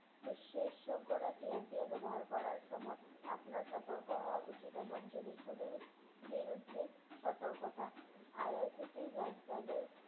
বিশ্বে শোকগরা TNPA ব্যবহার করার সময় আপনার সতর্ক হওয়া উচিৎ এবং জিনিষগুলির বিরুদ্ধে সতর্কতা IRCTC lifestyle এর